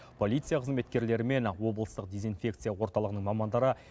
полиция қызметкерлері мен облыстық дезинфекция орталығының мамандары